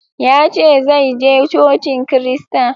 Ya ce zai je Cocin Kirista.